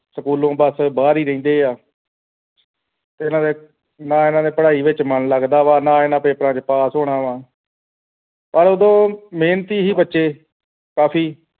ਸਕੂਲੋਂ ਬੱਸ ਬਾਹਰ ਈ ਰਹਿੰਦੇ ਐ ਤੇ ਇਨ੍ਹਾਂ ਦੇ ਨਾ ਇਨ੍ਹਾਂ ਨੇ ਪੜ੍ਹਾਈ ਦੇ ਵਿਚ ਮਨ ਲੱਗਦਾ ਵਾ ਨਾ ਇਨ੍ਹਾਂ ਨੇ ਪੇਪਰਾਂ ਚ pass ਹੋਣਾ ਪਰ ਉਦੋਂ ਮਿਹਨਤੀ ਸੀਗੈ ਬੱਚੇ ਕਾਫ਼ੀ